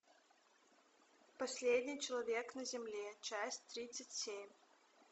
последний человек на земле часть тридцать семь